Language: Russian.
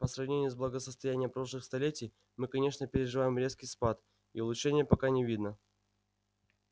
по сравнению с благосостоянием прошлых столетий мы конечно переживаем резкий спад и улучшения пока не видно